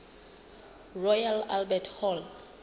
royal albert hall